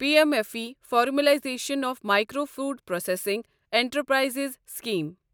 P M F M E formalization of micro food processing enterprises scheme